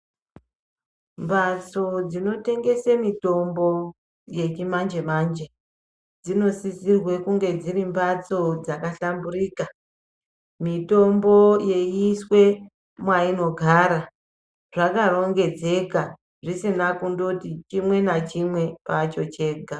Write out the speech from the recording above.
Mbatso dzinotengese mitombo yechimanje manje dzinosisirwe kunge dziri mbatso dzakahlamburika, mitombo yeiswe mwainogara zvakarongedzeka zvisina kundoti chimwe nachimwe kwacho chega.